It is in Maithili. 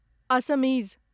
असमीज